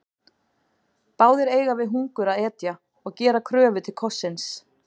Báðir eiga við hungur að etja og gera kröfu til kossins.